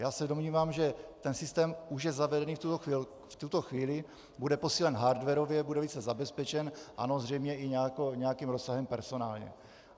Já se domnívám, že ten systém už je zavedený v tuto chvíli, bude posílen hardwarově, bude více zabezpečen, ano, zřejmě i nějakým rozsahem personálně.